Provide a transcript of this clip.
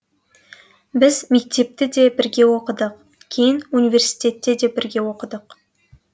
біз мектепті де бірге оқыдық кейін университетте де бірге оқыдық